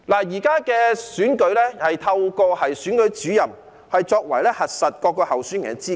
現時的選舉程序是透過選舉主任核實各候選人的資格。